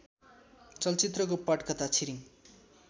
चलचित्रको पटकथा छिरिङ